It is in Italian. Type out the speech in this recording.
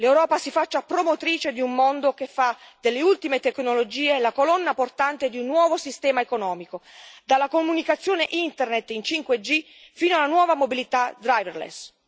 L'Europa si faccia promotrice di un mondo che fa delle ultime tecnologie la colonna portante di un nuovo sistema economico, dalla comunicazione internet in 5G fino alla nuova mobilità driverless